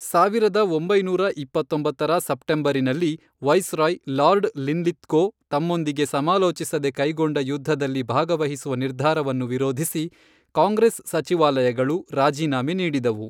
ಸಾವಿರದ ಒಂಬೈನೂರ ಇಪ್ಪತ್ತೊಂಬತ್ತರ ಸೆಪ್ಟೆಂಬರಿನಲ್ಲಿ, ವೈಸ್ರಾಯ್ ಲಾರ್ಡ್ ಲಿನ್ಲಿತ್ಗೋ ತಮ್ಮೊಂದಿಗೆ ಸಮಾಲೋಚಿಸದೆ ಕೈಗೊಂಡ ಯುದ್ಧದಲ್ಲಿ ಭಾಗವಹಿಸುವ ನಿರ್ಧಾರವನ್ನು ವಿರೋಧಿಸಿ ಕಾಂಗ್ರೆಸ್ ಸಚಿವಾಲಯಗಳು ರಾಜೀನಾಮೆ ನೀಡಿದವು.